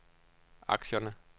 aktierne